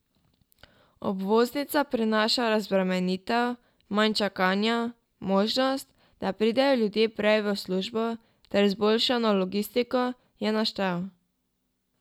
Obvoznica prinaša razbremenitev, manj čakanja, možnost, da pridejo ljudje prej v službo, ter izboljšano logistiko, je naštel.